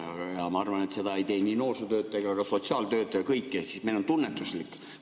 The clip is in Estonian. Aga ma arvan, et seda ei tee ei noorsootöötaja ega ka sotsiaaltöötaja, ehk meil on kõik tunnetuslik.